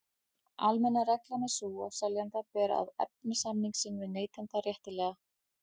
Almenna reglan er sú að seljanda ber að efna samning sinn við neytanda réttilega.